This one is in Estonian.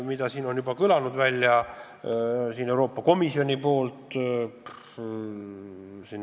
Seda on juba küsitud ka Euroopa Komisjonist.